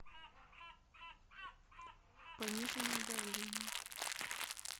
пониженное давление